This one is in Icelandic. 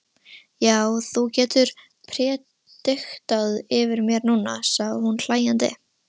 Já, þú getur prédikað yfir mér núna, sagði hún hlæjandi.